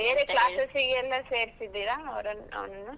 ಬೇರೆ classes ಗೆ ಎಲ್ಲ ಸೇರ್ಸಿದ್ದಿರಾ, ಅವರನ್ನು, ಅವನನ್ನು?